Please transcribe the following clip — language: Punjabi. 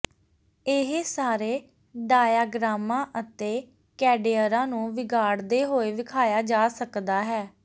ਇਹ ਸਾਰੇ ਡਾਇਆਗ੍ਰਾਮਾਂ ਅਤੇ ਕੈਡੇਅਰਾਂ ਨੂੰ ਵਿਗਾੜਦੇ ਹੋਏ ਵਿਖਾਇਆ ਜਾ ਸਕਦਾ ਹੈ